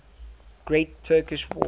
great turkish war